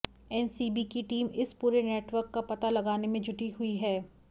NCB की team इस पूरे नेटवर्क का पता लगाने में जुटी हुई है